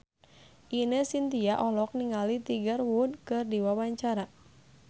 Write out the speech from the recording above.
Ine Shintya olohok ningali Tiger Wood keur diwawancara